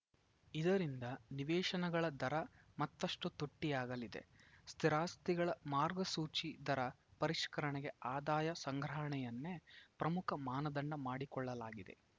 ಇದರಿಂದ ನಿವೇಶನಗಳ ದರ ಮತ್ತಷ್ಟುತುಟ್ಟಿಯಾಗಲಿದೆ ಸ್ಥಿರಾಸ್ತಿಗಳ ಮಾರ್ಗಸೂಚಿ ದರ ಪರಿಷ್ಕರಣೆಗೆ ಆದಾಯ ಸಂಗ್ರಹಣೆಯನ್ನೇ ಪ್ರಮುಖ ಮಾನದಂಡ ಮಾಡಿಕೊಳ್ಳಲಾಗಿದೆ